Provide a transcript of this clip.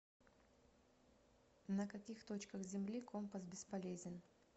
на каких точках земли компас бесполезен